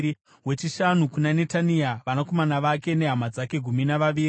wechishanu kuna Netania, vanakomana vake nehama dzake—gumi navaviri;